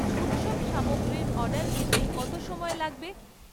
উৎসব সামগ্রীর অর্ডার পেতে কত সময় লাগবে?